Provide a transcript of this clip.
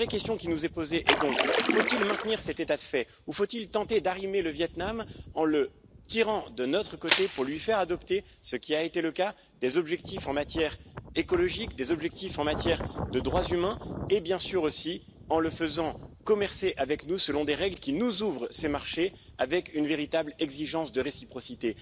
La vraie question qui nous est posée est donc faut il maintenir cet état de fait, ou faut il tenter d'arrimer le Viêt Nam en le tirant de notre côté pour lui faire adopter, ce qui a été le cas, des objectifs en matière écologique, des objectifs en matière de droits humains et, bien sûr, aussi, en le faisant commercer avec nous, selon des règles qui nous ouvrent ses marchés avec une véritable exigence de réciprocité?